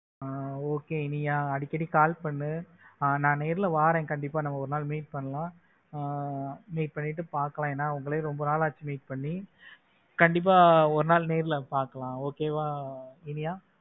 ஆஹ் okay Iniya அடிக்கடி call பண்ணு அஹ் நான் நேர்ல வாரேன் கண்டிபா நம்ம ஒரு நாள் meet பண்ணலாம் ஆஹ் meet பண்ணிட்டு பாக்கலாம் ஏன்னா உங்களையும் ரொம்ப நாள் ஆச்சு meet பண்ணி. கண்டிப்பா ஒரு நாள் நேரில் பார்க்கலாம் okay வா இனியா?